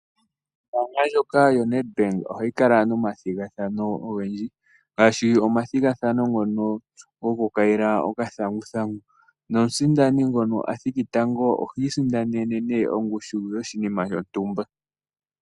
Ombaanga ndjoka yo NedBank ohayi kala nomathigathano ogendji ngaashi omathigathano ngono gokukayila okathanguthangu, nomusindani ngono a thiki tango ohi isindanene nee ongushu yoshinima shontumba.